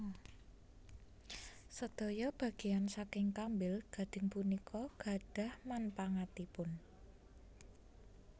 Sedaya bageyan saking kambil gading punika gadhah manpangatipun